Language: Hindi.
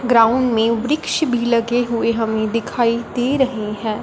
ग्राउंड में वृक्ष भी लगे हुए हमें दिखाई दे रहे हैं।